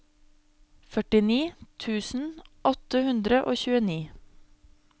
førtini tusen åtte hundre og tjueni